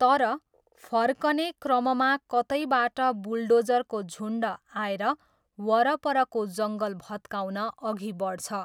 तर, फर्कने क्रममा कतैबाट बुलडोजरको झुन्ड आएर वरपरको जङ्गल भत्काउन अघि बढ्छ।